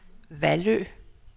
Vallø